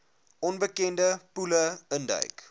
onbekende poele induik